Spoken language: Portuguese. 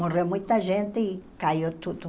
Morreu muita gente e caiu tudo.